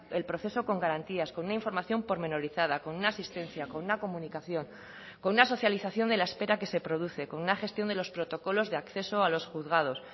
el proceso con garantías con una información pormenorizada con una asistencia con una comunicación con una socialización de la espera que se produce con una gestión de los protocolos de acceso a los juzgados